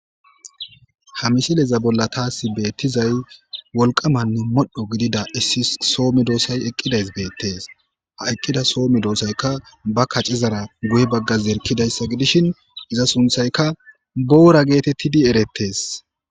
Ha missile bolla tassi betizayi woliqqameanne modho giddida soo meddossayi eqidayisi bettesi. Ha eqidda soo medossayika ba kacceza guye bagga zerikidayissa gidishini iya sunithayika boora gettetesi